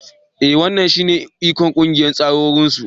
E wannan shine ikon ƙungiyar takwarorinsu.